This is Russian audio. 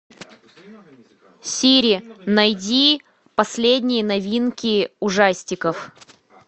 сири найди последние новинки ужастиков